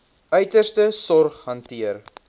uiterste sorg hanteer